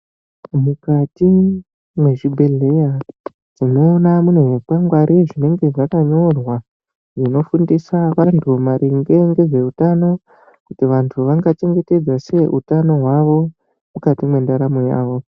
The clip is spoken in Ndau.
Mukati mwezvibhedhleya, tinoona munezvikwangwari zvinenge zvakanyorwa, zvinofundisa vantu maringe ngezveutano kuti vantu vangachengetedza sei utano hwavo mukati mwendaramo yavo.